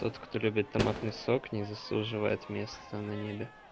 тот кто любит томатный сок не заслуживает место на небе